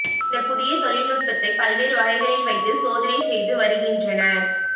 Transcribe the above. இந்த புதிய தொழில்நுட்பத்தை பல்வேறு வகைகளில் வைத்து சோதனை செய்து வருகின்றனர்